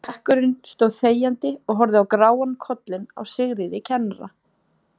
Bekkurinn stóð þegjandi og horfði á gráan kollinn á Sigríði kennara.